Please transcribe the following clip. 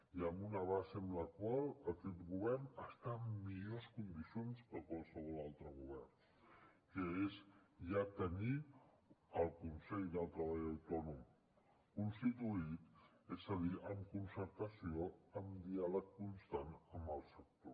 i amb una base amb la qual aquest govern està en millors condicions que qualsevol altre govern que és ja tenir el consell del treball autònom constituït és a dir amb concertació amb diàleg constant amb el sector